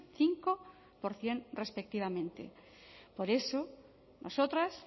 cinco por ciento respectivamente por eso nosotras